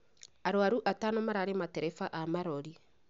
arũaru atano mararĩ Mareba aa marorĩ.